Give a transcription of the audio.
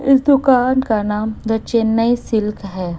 इस दुकान का नाम द चेन्नई सिल्क है।